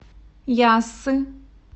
яссы